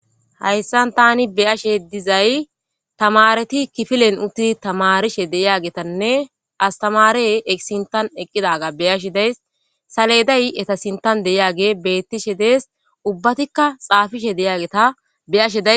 Haysan tani be'ashsha dizzay tamaretti kifilen uththidi tamarishen de'iyagatanne astamare sinththan eqqidaga be'ashsha de'ayis saleday etta sinththan dizay bettishe de'es ubatikka xafishe dizzaga be'ashsha de'ayis.